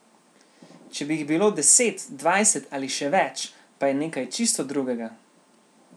Če bi jih bilo deset, dvajset ali še več, pa je nekaj čisto drugega.